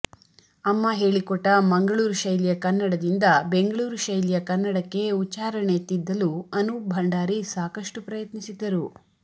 ಅಮ್ಮ ಹೇಳಿಕೊಟ್ಟ ಮಂಗಳೂರು ಶೈಲಿಯ ಕನ್ನಡದಿಂದ ಬೆಂಗಳೂರು ಶೈಲಿಯ ಕನ್ನಡಕ್ಕೆ ಉಚ್ಛಾರಣೆ ತಿದ್ದಲು ಅನೂಪ್ ಭಂಡಾರಿ ಸಾಕಷ್ಟು ಪ್ರಯತ್ನಿಸಿದ್ದರು